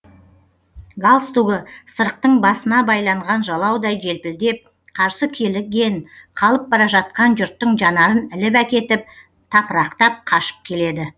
галстугы сырықтың басына байланған жалаудай желпілдеп қарсы келген қалып бара жатқан жұрттың жанарын іліп әкетіп тапырақтап қашып келеді